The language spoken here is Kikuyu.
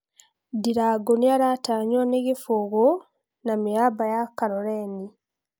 (Sunday express): Ndirangu nĩaratanyuo nĩ Kibugu Fc na mĩaba ya Kaloleni Fc